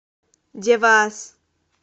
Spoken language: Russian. девас